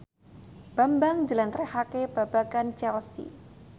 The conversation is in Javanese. Bambang njlentrehake babagan Chelsea